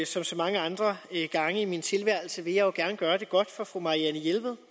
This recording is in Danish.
som så mange andre gange i min tilværelse vil jeg gerne gøre det godt for fru marianne jelved